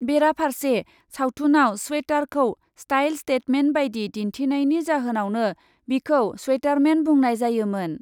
बेराफार्से सावथुनआव स्वेटारखौ style statement बायदि दिन्थिनायनि जाहोनावनो बिखौ स्वेटारमेन बुंनाय जायोमोन ।